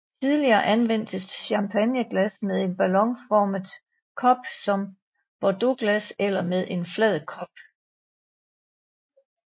Tidligere anvendtes champagneglas med en ballonformet kop som bordeauxglas eller med en flad kop